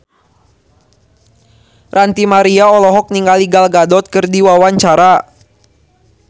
Ranty Maria olohok ningali Gal Gadot keur diwawancara